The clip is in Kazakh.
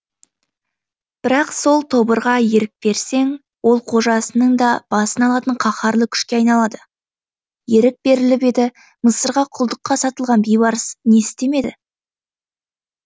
бірақ сол тобырға ерік берсең ол қожасының да басын алатын қаһарлы күшке айналады ерік беріліп еді мысырға құлдыққа сатылған бейбарыс не істемеді